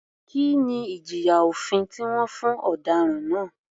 Kí ni ìjìyà òfin tí wọ́n fún ọ̀daràn náà?